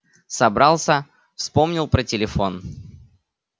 собрался вспомнил про телефон